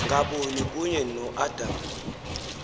ngaboni kunye noadam